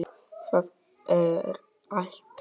Það er allt.